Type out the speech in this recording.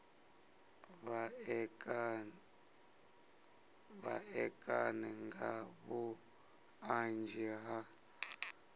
vha ṋekane nga vhuṱanzi ha